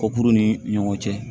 Ko kuru ni ɲɔgɔn cɛ